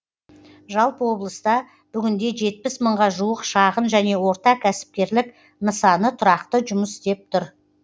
жалпы облыста бүгінде жетпіс мыңға жуық шағын және орта кәсіпкерлік нысаны тұрақты жұмыс істеп тұр